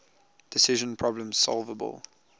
decision problems solvable